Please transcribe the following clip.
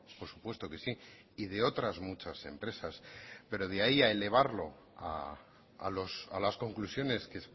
por supuesto que sí y de otras muchas empresas pero de ahí a elevarlo a las conclusiones que